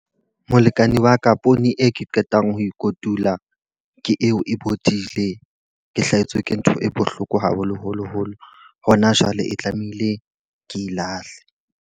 Molekane wa ka poone e ke qetang ho e kotula, ke eo e bodile. Ke hlahetswe ke ntho e bohloko haholoholo holo. Hona jwale e tlamehile ke e lahle.